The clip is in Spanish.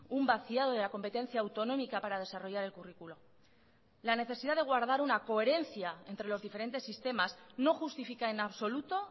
un vaciado de la competencia autonómica para desarrollar el currículo la necesidad de guardar una coherencia entre los diferentes sistemas no justifica en absoluto